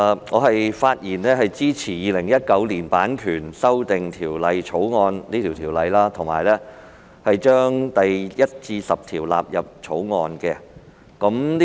我發言支持《2019年版權條例草案》，以及將第1至10條納入《條例草案》。